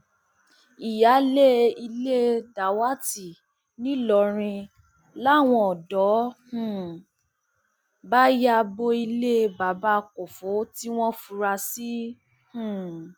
ìyáálé ilé dàwátì nìlọrin làwọn ọdọ um bá ya bo ilé bàbá kọfọ tí wọn fura sí um